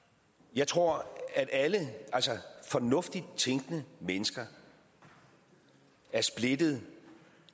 jeg tror at alle fornuftigt tænkende mennesker er splittet